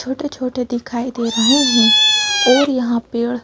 छोटे छोटे दिखाई दे रहे हैं और यहां पेड़--